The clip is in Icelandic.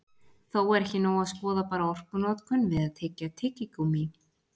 Þó er ekki nóg að skoða bara orkunotkun við að tyggja tyggigúmmí.